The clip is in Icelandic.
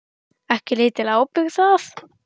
Ekki lítil ábyrgð það.